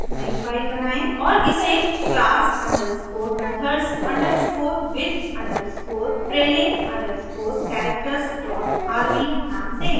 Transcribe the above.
और इसे class underscore methods underscore with underscore trailing underscore characters dot rbनाम दें